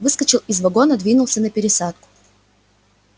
выскочил из вагона двинулся на пересадку